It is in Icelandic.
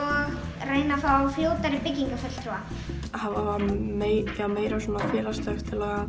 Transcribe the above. reyna að fá fljótari byggingarfulltrúa hafa meira meira svona félagslegt til að